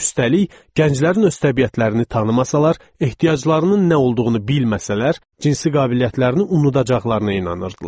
Üstəlik, gənclərin öz təbiətlərini tanımasalar, ehtiyaclarının nə olduğunu bilməsələr, cinsi qabiliyyətlərini unudacaqlarına inanırdılar.